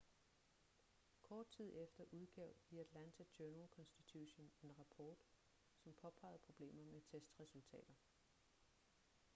kort tid efter udgav the atlanta journal-constitution en rapport som påpegede problemer med testresultater